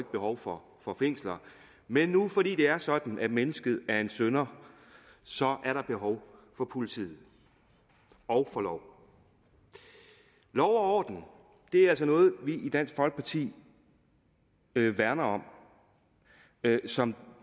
behov for fængsler men nu fordi det er sådan at mennesket er en synder så er der behov for politiet og for love lov og orden er altså noget vi i dansk folkeparti værner om som